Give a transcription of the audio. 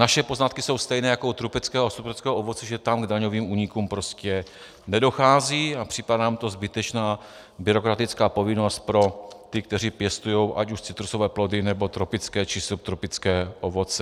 Naše poznatky jsou stejné jako u tropického a subtropického ovoce, že tam k daňovým únikům prostě nedochází, a připadá nám to zbytečná byrokratická povinnost pro ty, kteří pěstují ať už citrusové plody, nebo tropické či subtropické ovoce.